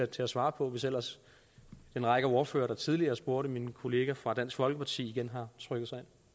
til at svare på hvis ellers den række af ordførere der tidligere spurgte min kollega fra dansk folkeparti igen har trykket sig